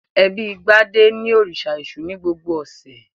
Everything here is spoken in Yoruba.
Ẹbí Gbadé ń òrìṣà Èṣù ní gbogbo ọ̀sẹ̀.